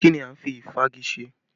Kí ni a ń fi ìfági ṣe?